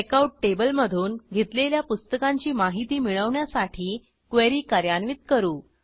checkout table मधून घेतलेल्या पुस्तकांची माहिती मिळवण्यासाठी क्वेरी कार्यान्वित करू